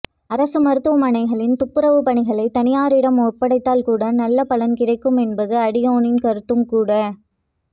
அரசு மருத்துவமனைகளின் துப்புரவு பணிகளை தனியாரிடம் ஒப்படைத்தால் கூட நல்ல பலன் கிடைக்கும் என்பது அடியேனின் கருத்தும் கூட